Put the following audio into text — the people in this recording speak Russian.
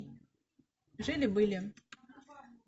жили были